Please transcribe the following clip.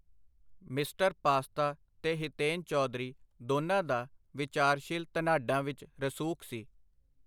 Mister Pasta ਤੇ ਹਿਤੇਨ ਚੌਧਰੀ ਦੋਨਾਂ ਦਾ ਵਿਚਾਰਸ਼ੀਲ ਧਨਾਢਾਂ ਵਿਚ ਰਸੂਖ ਸੀ.